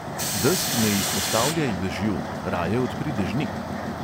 Desk ne izpostavljaj dežju, raje odpri dežnik.